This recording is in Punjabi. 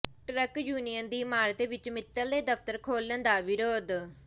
ਟਰੱਕ ਯੂਨੀਅਨ ਦੀ ਇਮਾਰਤ ਵਿੱਚ ਮਿੱਤਲ ਦੇ ਦਫ਼ਤਰ ਖੋਲ੍ਹਣ ਦਾ ਵਿਰੋਧ